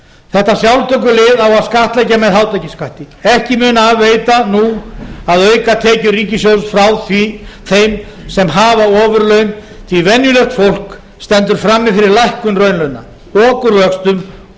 þetta sjálftökulið á að skattleggja með hátekjuskatti ekki mun af veita nú að auka tekjur ríkissjóðs frá þeim sem hafa ofurlaun því að venjulegt fólk stendur frammi fyrir lækkun raunlauna okurvöxtum og